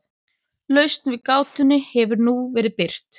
Lausn við gátunni hefur nú verið birt hér.